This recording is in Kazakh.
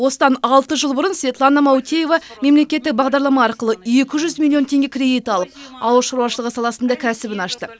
осыдан алты жыл бұрын светлана маутеева мемлекеттік бағдарлама арқылы екі жүз миллион теңге кредит алып ауыл шаруашылығы саласында кәсібін ашты